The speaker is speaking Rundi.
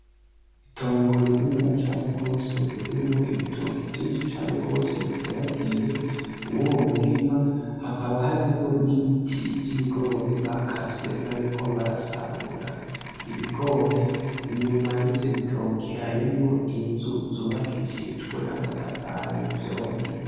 itongo rininiya cane gwose ririmwo ibitoki vyinshi cane gwose biteragiye muruyo murima hakaba harimwo n'ibiti vy'ibigori bakase bariko barasarura ibigori, inyuma yivyo bitoki harimwo inzu yubakishijwe amatafari y'ivyondo.